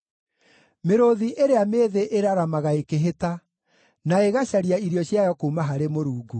Mĩrũũthi ĩrĩa mĩĩthĩ ĩraramaga ĩkĩhĩta, na ĩgacaria irio ciayo kuuma harĩ Mũrungu.